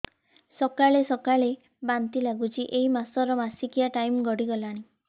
ସକାଳେ ସକାଳେ ବାନ୍ତି ଲାଗୁଚି ଏଇ ମାସ ର ମାସିକିଆ ଟାଇମ ଗଡ଼ି ଗଲାଣି